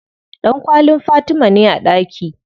Ɗankwallin Fatima ne a ɗaki.